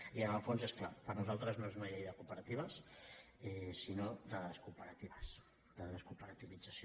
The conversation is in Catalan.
i en el fons és clar per nosaltres no és una llei de cooperatives sinó de descooperatives de descooperativització